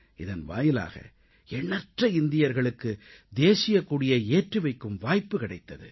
இதன் வாயிலாக எண்ணற்ற இந்தியர்களுக்கு தேசியக் கொடியை ஏற்றி வைக்கும் வாய்ப்பு கிடைத்தது